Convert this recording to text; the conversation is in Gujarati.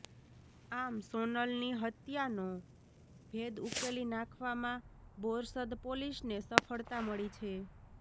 આમ સોનલની હત્યાનો ભેદ ઉકેલી નાંખવામાં બોરસદ પોલીસને સફળતા મળી છે